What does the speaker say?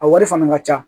A wari fana ka ca